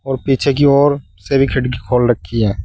और पीछे की ओर से भी खिड़की खोल रखी है।